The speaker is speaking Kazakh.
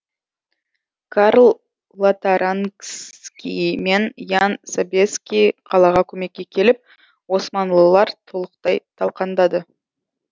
карл лотарингский мен ян собеский қалаға көмекке келіп османлылар толықтай талқандады